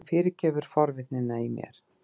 Þú fyrirgefur forvitnina í mér!